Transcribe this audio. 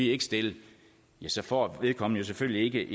ikke stille ja så får vedkommende selvfølgelig